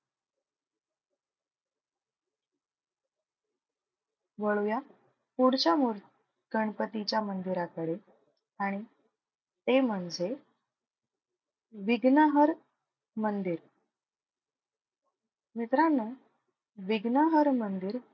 वळूया पुढच्या मूर गणपतीच्या मंदिराकडे आणि ते म्हणजे विघ्नहर मंदिर. मित्रांनो विघ्नहर मंदिर,